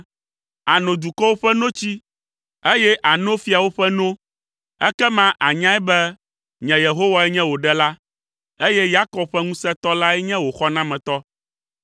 Àno dukɔwo ƒe notsi, eye àno fiawo ƒe no, ekema ànyae be, nye Yehowae nye wò Ɖela, eye Yakob ƒe Ŋusẽtɔ lae nye wò xɔnametɔ.